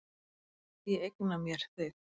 Ég eigna mér þig.